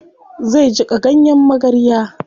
Zai jiƙa ganyen magarya.